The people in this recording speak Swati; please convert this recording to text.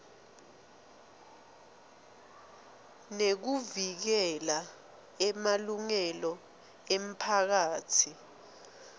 nekuvikela emalungelo emiphakatsi